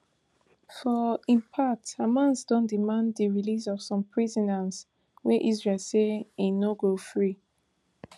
for im part hamas don demand di release of some prisoners wey israel say im no go free